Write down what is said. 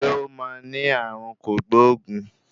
Ṣé ó máa ní ààrùn kògbóògùn?